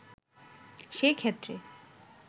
সে ক্ষেত্রে